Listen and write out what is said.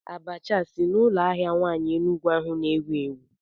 Abacha a si n'ụlọ ahịa nwaanyị Enugwu ahu na-ewu ewu?